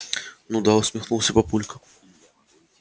ну да усмехнулся папулька